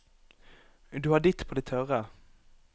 Du har ditt på det tørre.